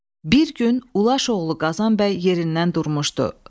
Bir gün Ulaş oğlu Qazan bəy yerindən durmuşdu.